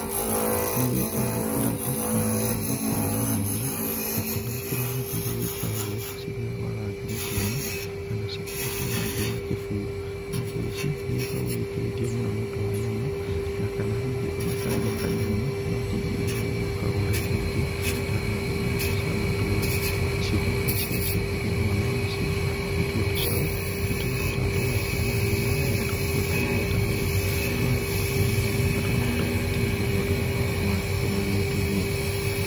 Nĩ gũgĩkoragwo ũriithi wa ng'ombe mwanya mwanya nakuo nĩ gũgĩkoragwo ng'ombe iria igĩkoragwo iri cia rangi mũtune kana cikirĩ cia rangi wa kĩbuu. Ng'ombe ici nĩ igĩkoragwo ikĩrĩthio mũno nĩ ũndũ wa nyama na kana hihi ona karia kanini, no ti iria rĩria rigĩkoragwo rirĩ rĩingĩ ta ng'ombe iria ingĩ cia matũrĩ. Nacio ng'ombe ici rĩrĩa ciakĩgĩa mwana wacio, nĩtuo tũcaũ nĩ tũgĩbataraga tũgaikara na nyina nĩ getha tũgakionga iria ta rirĩ tũgagĩkura twĩna hinya , na tũkahota gwĩtiria maũndũ marĩa mangĩ mangĩgĩkorwo magĩtũgia.